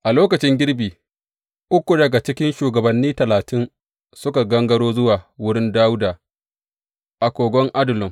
A lokacin girbi, uku daga cikin shugabanni talatin suka gangaro zuwa wurin Dawuda a kogon Adullam.